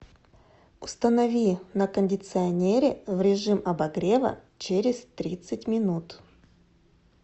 установи на кондиционере в режим обогрева через тридцать минут